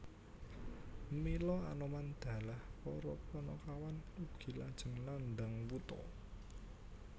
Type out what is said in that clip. Mila Anoman dalah para Panakawan ugi lajeng nandhang wutha